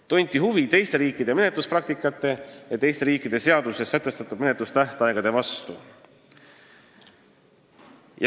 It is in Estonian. Tunti huvi teiste riikide menetluspraktika ja teiste riikide seadustes sätestatud menetlustähtaegade vastu.